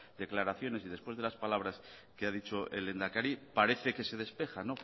declaraciones y después de las palabras que ha dicho el lehendakari parece que se despeja